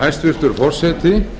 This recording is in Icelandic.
hæstvirtur forseti